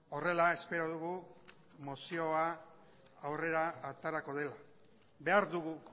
horrela espero dugu mozioa aurrera aterako dela behar dugu